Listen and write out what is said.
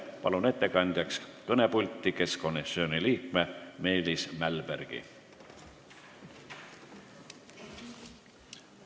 Palun ettekandjaks kõnepulti keskkonnakomisjoni liikme Meelis Mälbergi!